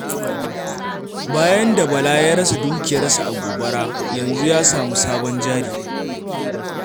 Bayan da Bala ya rasa dukiyarsa a gobara, yanzu ya sami sabon jari.